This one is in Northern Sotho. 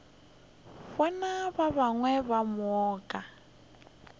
bana ba gagwe ka moka